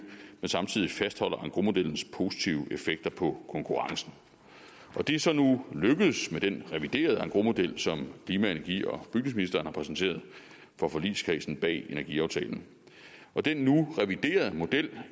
men samtidig fastholder engrosmodellens positive effekter på konkurrencen det er så nu lykkedes med den reviderede engrosmodel som klima energi og bygningsministeren har præsenteret for forligskredsen bag energiaftalen den nu reviderede model